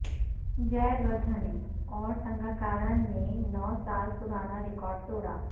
جے ودھنے اور سنگاکار نے نو سال پرانا ریکارڈ توڑا